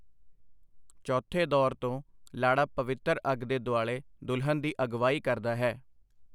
ਚੌਥੇ ਦੌਰ ਤੋਂ, ਲਾੜਾ ਪਵਿੱਤਰ ਅੱਗ ਦੇ ਦੁਆਲੇ ਦੁਲਹਨ ਦੀ ਅਗਵਾਈ ਕਰਦਾ ਹੈ।